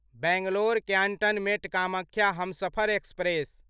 Bangalore cantonment Kamakhya Humsafar express